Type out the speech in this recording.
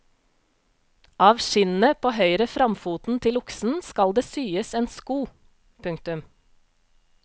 Av skinnet på høyre framfoten til oksen skal det syes en sko. punktum